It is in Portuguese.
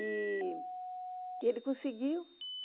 E ele conseguiu.